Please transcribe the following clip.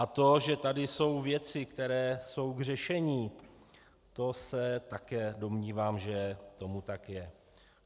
A to, že tady jsou věci, které jsou k řešení, to se také domnívám, že tomu tak je.